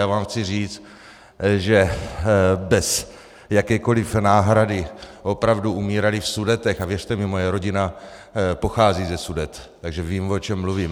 Já vám chci říct, že bez jakékoliv náhrady opravdu umírali v Sudetech, a věřte mi, moje rodina pochází ze Sudet, takže vím, o čem mluvím.